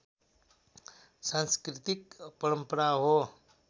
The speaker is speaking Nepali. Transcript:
सांस्कृतिक परम्परा हो